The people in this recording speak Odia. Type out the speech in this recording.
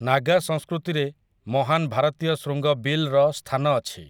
ନାଗା ସଂସ୍କୃତିରେ 'ମହାନ ଭାରତୀୟ ଶୃଙ୍ଗ ବିଲ୍' ର ସ୍ଥାନ ଅଛି ।